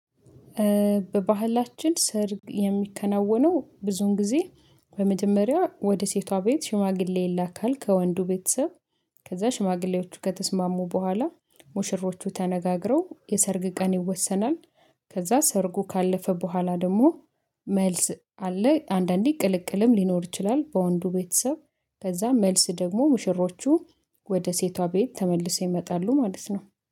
በባህላችን ሰርግ የሚከናወነው ብዙን ጊዜ በመጀመሪያ ወደ ሴቷ ቤት ሽማግሌ ይላካል ከወንዱ ቤተሰብ ከዛ ሽማግሌዎቹ ከተስማሙ በኋላ ሙሽሮቹ ተነጋግረው የሰርግ ቀን ይወሰናል። ከዛ ሰርጉ ካለፈ በኋላ ደግሞ መልስ አለ አንዳንዴ ቅልቅልም ሊኖር ይችላል። በወንዱ ቤተሰብ ከዛ መልስ ደግሞ ሙሽሮቹ ወደ ሴቷ ቤት ተመልሰው ይመጣሉ ማለት ነው።